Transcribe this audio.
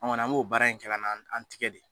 An' ŋɔni an b'o baara in kɛla n'an an tigɛ de